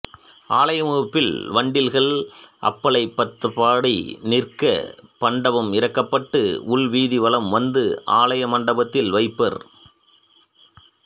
ஆலய முகப்பில் வண்டில்கள் அம்பளைப் பார்த்தபடி நிற்க பண்டம் இறக்கப்பட்டு உள்வீதி வலம் வந்து ஆலய மண்டபத்தில் வைப்பர்